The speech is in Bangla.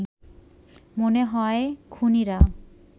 মনে হয় খুনীরা